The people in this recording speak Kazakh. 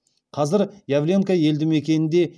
қазір явленка елді мекенінде